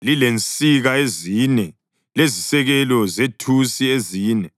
lilensika ezine lezisekelo zethusi ezine.